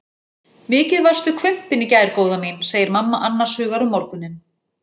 Mikið varstu hvumpin í gær góða mín, segir mamma annars hugar um morguninn.